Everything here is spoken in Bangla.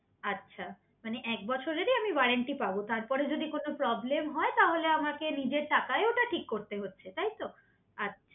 আচ্ছা মানে এক বছরেরই আমি ওয়ারেন্টি পাবো তারপরে যদি কোনো প্রব্লেম হয় হুম তাহলে আমাকে নিজের টাকায় ওটা ঠিক করতে হচ্ছে তাই তো? আচ্ছা